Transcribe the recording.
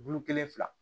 Bulu kelen fila